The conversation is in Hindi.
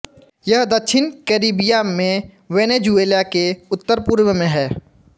यह दक्षिण कैरिबिया में वेनेज़ुएला के उत्तरपूर्व में है